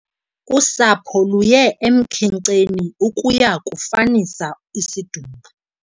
Usapho luye emkhenkceni ukuya kufanisa isidumbu.